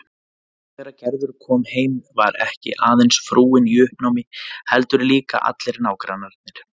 En þegar Gerður kom heim var ekki aðeins frúin í uppnámi heldur líka allir nágrannarnir.